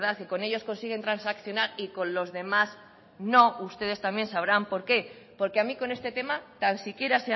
y con ellos consiguen transaccionar y con los demás no ustedes también sabrán por qué porque a mí con este tema tan siquiera